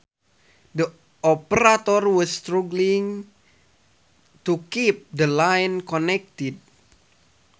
The operator was struggling to keep the line connected